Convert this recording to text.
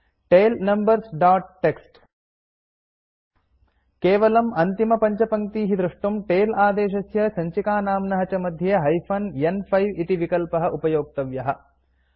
tail numbers dot T X T केवलम् अन्तिमपञ्चपङ्क्तीः द्रष्टुम् टेल आदेशस्य सञ्चिकानाम्न च मध्ये हाइफेन न्5 इति विकल्पः उपयोक्तव्यः